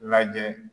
Lajɛ